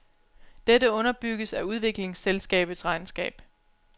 Dette underbygges af udviklingsselskabets regnskab.